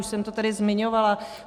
Už jsem to tady zmiňovala.